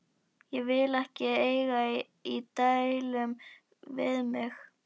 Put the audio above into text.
Hann vill ekki eiga í deilum við mig.